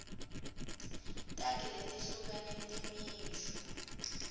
takhi letehlukene temisho